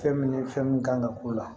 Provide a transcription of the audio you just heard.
Fɛn min fɛn min kan ka k'o la